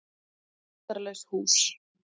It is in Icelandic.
Það var lyktarlaust hús.